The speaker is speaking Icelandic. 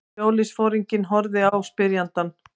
Sjóliðsforinginn horfði á spyrjandann.